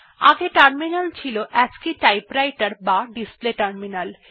আগে টার্মিনাল ছিল অ্যাসি টাইপরাইটের বা ডিসপ্লে টার্মিনাল